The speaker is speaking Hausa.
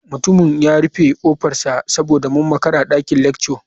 Mutumin ya rufe kofarsa saboda mun makara a dakin lecture.